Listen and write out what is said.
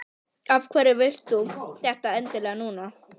Af hverju vilt þú þetta endilega núna?